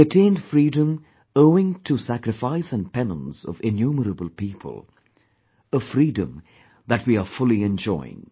We attained freedom owing to sacrifice and penance of innumerable people; a freedom that we are fully enjoying